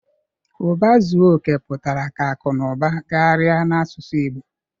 Uba zuo oke putara ka aku na uba gagharia n'asusu igbo